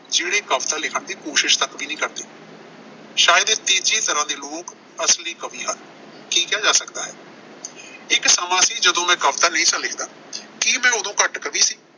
ਜਿਹੜੇ ਕਵਿਤਾ ਲਿਖਣ ਦੀ ਕੋਸ਼ਿਸ਼ ਤੱਕ ਵੀ ਨਹੀਂ ਕਰਦੇ। ਸ਼ਾਇਦ ਇਹ ਤੀਜੀ ਤਰ੍ਹਾਂ ਦੇ ਲੋਕ ਅਸਲੀ ਕਵੀ ਹਨ। ਕੀ ਕਿਹਾ ਜਾ ਸਕਦਾ ਹੈ। ਇੱਕ ਸਮਾਂ ਸੀ ਜਦੋਂ ਵੀ ਕਵਿਤਾ ਨਹੀਂ ਸਾਂ ਲਿਖਦਾ। ਕੀ ਮੈਂ ਉਦੋਂ ਘੱਟ ਕਵੀ ਸੀ।